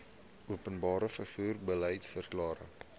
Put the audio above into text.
openbare vervoer beliedsverklaring